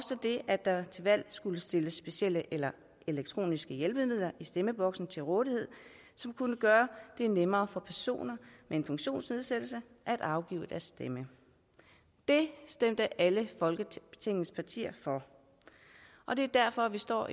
at der skulle stilles specielle eller elektroniske hjælpemidler i stemmeboksen til rådighed som kunne gøre det nemmere for personer med en funktionsnedsættelse at afgive deres stemme det stemte alle folketingets partier for og det er derfor vi står